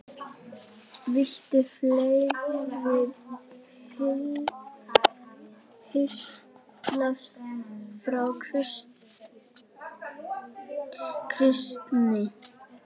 Viltu fleiri pistla frá Kristni?